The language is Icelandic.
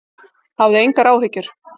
Hafðu engar áhyggjur!